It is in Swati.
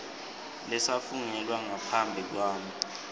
lesafungelwa ngaphambi kwami